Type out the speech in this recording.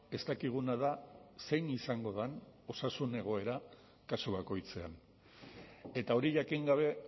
ez dakiguna da zein izango den osasun egoera kasu bakoitzean eta hori jakin gabe